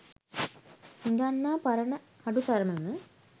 හිඟන්නා පරණ හඩු සරම ම